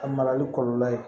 A marali kɔlɔlɔ ye